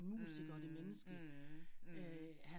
Mh mh mh